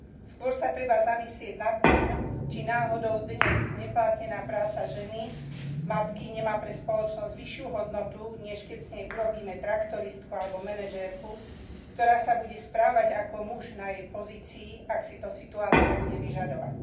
Skôr sa treba zamyslieť nad tým, či náhodou dnes neplatená práca ženy matky nemá pre spoločnosť vyššiu hodnotu, než keď z nej urobíme traktoristku alebo manažérku, ktorá sa bude správať ako muž na jej pozícii, ak si to situácia bude vyžadovať.